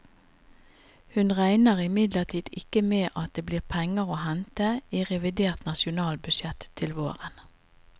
Hun regner imidlertid ikke med at det blir penger å hente i revidert nasjonalbudsjett til våren.